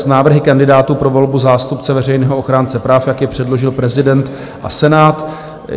s návrhy kandidátů pro volbu zástupce veřejného ochránce práv, jak je předložil prezident a Senát."